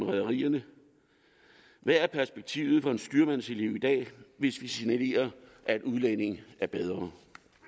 rederierne hvad er perspektivet for en styrmandselev i dag hvis vi signalerer at udlændinge er bedre